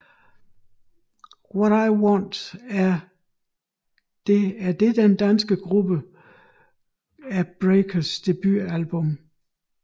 What I Want er det den danske gruppe The Breakers debutalbum